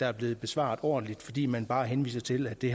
er blevet besvaret ordentligt fordi man bare henviser til at det